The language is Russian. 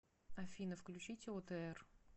афина включите отр